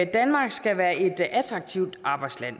danmark skal være et attraktivt arbejdsland